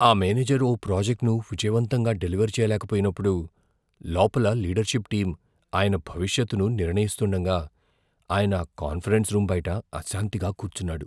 ఆ మేనేజర్ ఓ ప్రాజెక్ట్ను విజయవంతంగా డెలివర్ చేయలేక పోయినప్పుడు, లోపల లీడర్షిప్ టీం ఆయన భవిష్యత్తును నిర్ణయిస్తుండగా ఆయన కాన్ఫరెన్స్ రూమ్ బయట అశాంతిగా కూర్చున్నాడు.